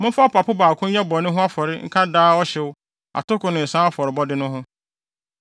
Momfa ɔpapo baako nyɛ bɔne ho afɔrebɔ nka daa ɔhyew, atoko ne nsa afɔrebɔde no ho.